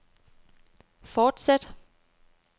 fortsæt